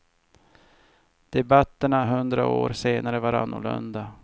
Debatterna hundra år senare var annorlunda.